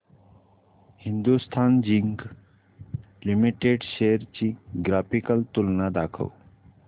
Hindustan zinc limited shares ची graphical तुलना दाखव